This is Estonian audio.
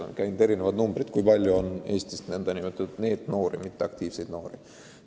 On läbi käinud erinevad arvud, kui palju on Eestis nn NEET-noori ehk mitteaktiivseid noori.